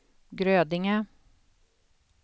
Grödinge